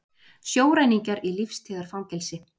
Sjóræningjar í lífstíðarfangelsi